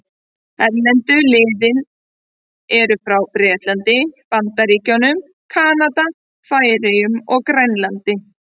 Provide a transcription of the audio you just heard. Erlendu liðin eru frá Bretlandi, Bandaríkjunum, Kanada, Færeyjum og Grænlandi.